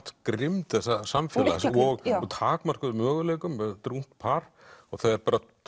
grimmd þessa samfélags og takmörkuðum möguleikum þetta er ungt par og þau